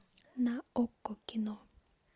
на окко кино